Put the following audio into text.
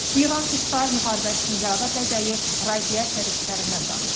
İran-İsrail müharibəsinin yarada biləcəyi radiasiya risklərindən danışırıq.